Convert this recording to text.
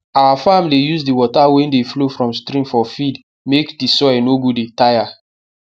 our farm dey use di water wey dey flow from stream for field make di soil no go dey tire